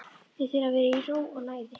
Þið þurfið að vera í ró og næði.